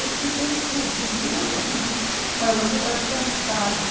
Eu te dou o teu dinheiro, mas você vai ficar em casa.